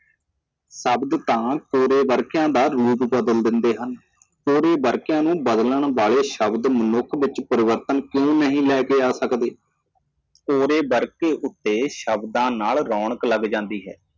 ਸ਼ਬਦ ਬਦਲਦੇ ਹਨ ਕਿ ਤੁਸੀਂ ਕੌਣ ਹੋ ਸ਼ਬਦ ਮਨੁੱਖ ਵਿੱਚ ਤਬਦੀਲੀ ਕਿਉਂ ਨਹੀਂ ਲਿਆ ਸਕਦੇ ਸਵੇਰ ਦਾ ਕੰਮ ਸ਼ਬਦਾਂ ਨਾਲ ਰੌਸ਼ਨ ਹੋ ਜਾਂਦਾ ਹੈ